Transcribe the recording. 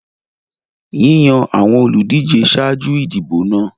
Yíyàn àwọn olùdíje ṣáájú ìdìbò náà.